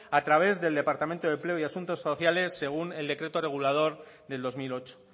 a través del departamento de empleo y asuntos sociales según el decreto regulador del dos mil ocho